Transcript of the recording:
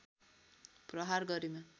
प्रहार गरेमा